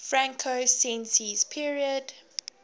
franco sensi's period